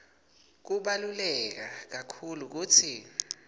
kubaluleke kakhulu kutsi